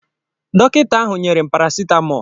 Dọkịta ahụ nyere m paracetamol.